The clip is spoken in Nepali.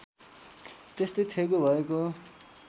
त्यस्तै थेगो भएको